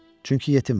Çünki yetiməm.